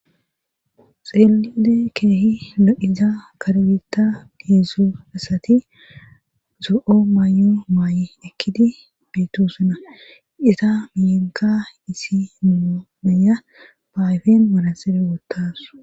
xeelide keehi lo7iza kargita deedzzu assati zo7o maayo maay7i ekkidi beeto suna isa miyenka isi mumenya baayfen marasebe woottasu